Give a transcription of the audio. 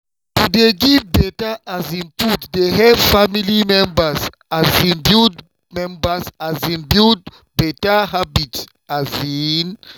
to dey give better um food dey help family members um build members um build better habits. um